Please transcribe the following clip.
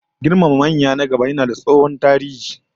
Girmama manya na gaba yayi tsohon tarihi